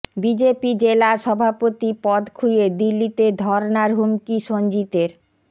BJP জেলা সভাপতি পদ খুইয়ে দিল্লিতে ধর্নার হুমকি সঞ্জিতের